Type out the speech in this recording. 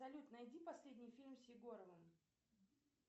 салют найди последний фильм с егоровым